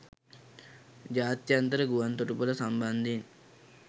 ජාත්‍යන්තර ගුවන් තොටු‍පොළ සම්බන්ධයෙන්